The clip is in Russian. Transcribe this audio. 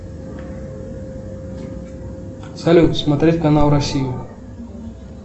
салют смотреть канал россию